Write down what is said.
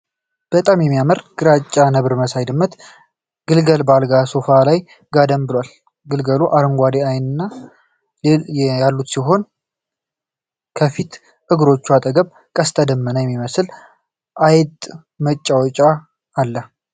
በጣም የሚያምር ግራጫ ነብር መሳይ የድመት ግልገል በአልጋ ወይም ሶፋ ላይ ጋደም ብሏል። ግልገሉ አረንጓዴ ዓይኖች ያሉት ሲሆን፣ ከፊት እግሮቹ አጠገብ ቀስተ ደመና የሚመስል አይጥ መጫወቻ አለ።